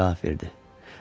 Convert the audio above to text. General cavab verdi: